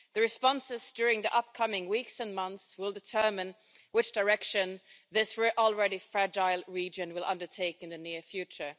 The responses during the upcoming weeks and months will determine which direction this already fragile region will take in the near future.